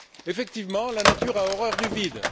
Effectivement, la nature a horreur du vide.